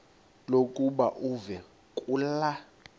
lokuba uve kulaa